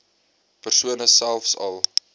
persone selfs al